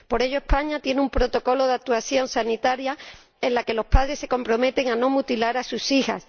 por ello, España tiene un protocolo de actuación sanitaria en el que los padres se comprometen a no mutilar a sus hijas.